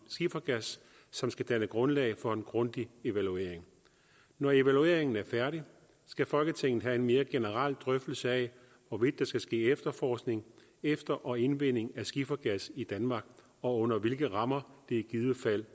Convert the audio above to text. skifergas som skal danne grundlag for en grundig evaluering når evalueringen er færdig skal folketinget have en mere generel drøftelse af hvorvidt der skal ske efterforskning efter og indvinding af skifergas i danmark og under hvilke rammer det i givet fald